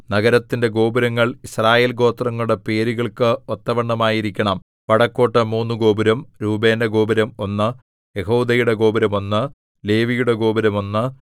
നഗരത്തിന്റെ ഗോപുരങ്ങൾ യിസ്രായേൽ ഗോത്രങ്ങളുടെ പേരുകൾക്ക് ഒത്തവണ്ണമായിരിക്കണം വടക്കോട്ട് മൂന്നു ഗോപുരം രൂബേന്റെ ഗോപുരം ഒന്ന് യെഹൂദയുടെ ഗോപുരം ഒന്ന് ലേവിയുടെ ഗോപുരം ഒന്ന്